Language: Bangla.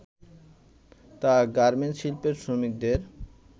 তা গার্মেন্ট শিল্পের শ্রমিকদের